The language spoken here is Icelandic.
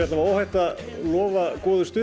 óhætt að lofa stuði